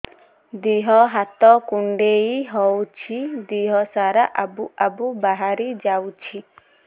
ଦିହ ହାତ କୁଣ୍ଡେଇ ହଉଛି ଦିହ ସାରା ଆବୁ ଆବୁ ବାହାରି ଯାଉଛି